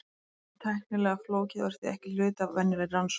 Þetta er þó tæknilega flókið og er því ekki hluti af venjulegri rannsókn.